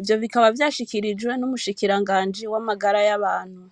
ivyo bikaba vyashikirijwe n'umushikiranganji w'amagara y'abantu.